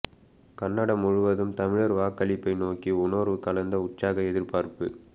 Canada முழுவதும் தமிழர் வாக்களிப்பை நோக்கி உணர்வு கலந்த உற்சாக எதிர்பார்ப்பு